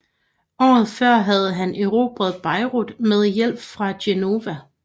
Året før havde han erobret Beirut med hjælp fra Genova